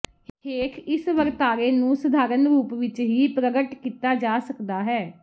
ਹੇਠ ਇਹ ਵਰਤਾਰੇ ਨੂੰ ਸਧਾਰਨ ਰੂਪ ਵਿੱਚ ਹੀ ਪ੍ਰਗਟ ਕੀਤਾ ਜਾ ਸਕਦਾ ਹੈ